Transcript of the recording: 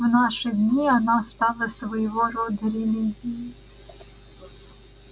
в наши дни она стала своего рода религией